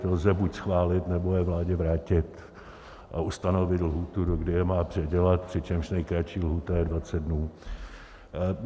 To lze buď schválit, nebo je vládě vrátit a ustanovit lhůtu, dokdy je má předělat, přičemž nejkratší lhůta je 20 dnů.